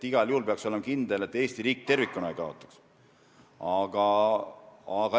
Igal juhul peaks olema kindel, et Eesti riik tervikuna ei kaotaks.